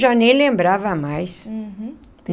Já nem lembrava mais. Uhum.